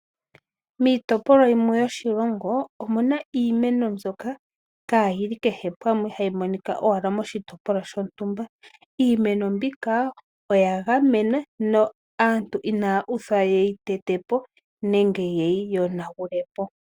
Miitopolwa yimwe yoshilongo omuna iimeno mbyoka kaa yili kehe pamwe, hayi monika owala moshitopolwa shontumba. Iimeno mbika oya gamenwa no aantu inaya uthwa yeyi tete po nenge yeyi yonagule po.